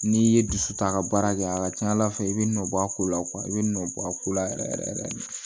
N'i ye dusu ta a ka baara kɛ a ka ca ala fɛ i bɛ nɔ bɔ a ko la i bɛ nɔ bɔ a ko la yɛrɛ yɛrɛ yɛrɛ de